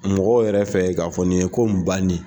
Mɔgɔw yɛrɛ fɛ k'a fɔ nin ye ko in ba ni.